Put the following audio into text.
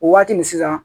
O waati nin sisan